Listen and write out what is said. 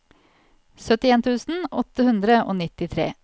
syttien tusen åtte hundre og nittitre